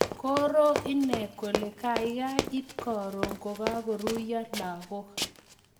Koroo inee koleee kaikai ipkoruu kokakoruiyoo lagook